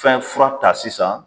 Fɛn fura ta sisan